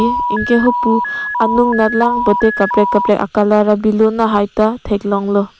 anke hapu anung anat lang pute kaprek kaprek acolour a balloon haita theklonglo.